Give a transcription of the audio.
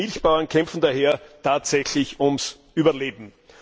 Viele Milchbauern kämpfen daher tatsächlich ums Überleben.